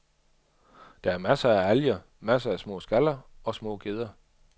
Der er masser af alger, masser af små skaller og små gedder.